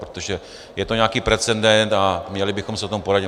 Protože je to nějaký precedent a měli bychom se o tom poradit.